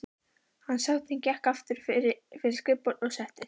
Hans hátign gekk aftur fyrir skrifborðið og settist.